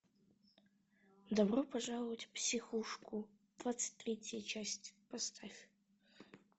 добро пожаловать в психушку двадцать третья часть поставь